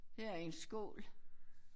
Her er en skål